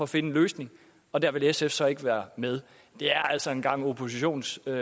finde en løsning og der vil sf så ikke være med det er altså en gang oppositionsgejl